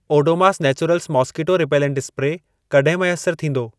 Odomos naturals mosquito repellent spray कॾहिं मैसर थींदो?